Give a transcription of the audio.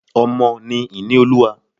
Ọmọ ni ìní olúwa.